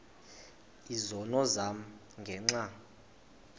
izono zam ngenxa